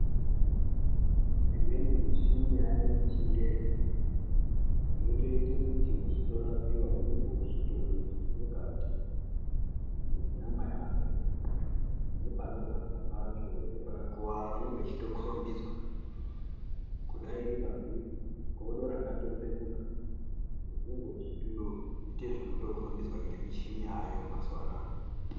Imweni michini yaveko yechingezi yotoita kuti wechirapiwa woona zvirimukati menyama yako nepanorwadza pacho nepakakuwara pechitokombidzwa kudai iri good rakatsemuka unenge weitoita zvekukombidzwa nemichini yaayo mazuwa anaya.